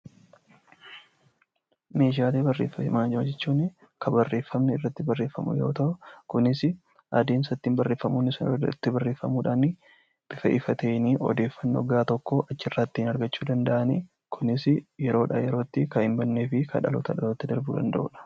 Meeshaalee barreeffamaa jechuun kan barreeffamni irratti barreeffamu yoo ta'u, kunis adeemsa ittiin barreeffamoonni sun itti barreeffamuudhaan, bifa ifa ta'een odeeffannoo gahaa tokko achirraa ittiin argachuu danda'anidha. Kunis yeroo irraa yerootti kan hin bannee fi kan dhalootaa dhalootatti darbuu danda'udha.